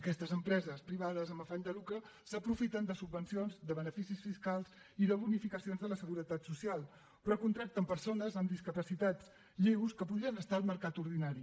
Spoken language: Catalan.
aquestes empreses privades amb afany de lucre s’aprofiten de subvencions de beneficis fiscals i de bonificacions de la seguretat social però contracten persones amb discapacitats lleus que podrien estar al mercat ordinari